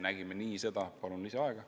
Palun lisaaega!